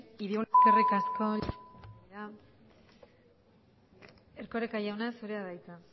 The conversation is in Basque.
eskerri asko llanos andrea erkoreka jauna zurea da hitza